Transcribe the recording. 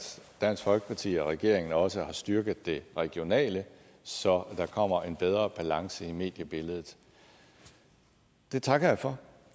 dansk folkeparti og regeringen også har styrket det regionale så der kommer en bedre balance i mediebilledet det takker jeg for